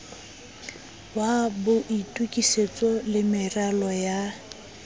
wa boitokisetso le meralo ya